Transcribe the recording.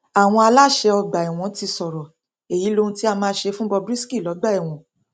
àwọn aláṣẹ ọgbà ẹwọn ti sọrọ èyí lóhun tí a máa ṣe fún bob risky lọgbà ẹwọn